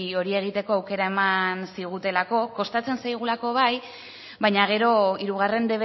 hori egiteko aukera eman zigutelako kostatzen zaigulako bai baina gero hirugarren